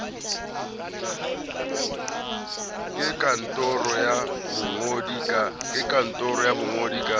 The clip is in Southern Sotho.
ke kantoro ya bongodi ka